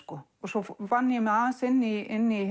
svo vann ég mig inn í inn í